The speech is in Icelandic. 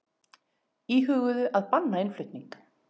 Íhuguðu að banna innflutning